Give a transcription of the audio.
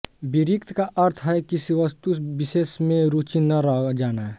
विरक्ति का अर्थ है किसी वस्तु विशेष में रुचि न रह जाना